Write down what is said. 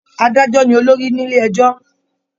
Adájọ ní olórí nílé ẹjọ.